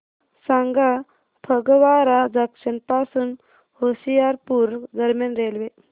सांगा फगवारा जंक्शन पासून होशियारपुर दरम्यान रेल्वे